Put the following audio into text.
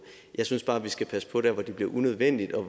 jeg synes bare vi skal passe på der hvor det bliver unødvendigt og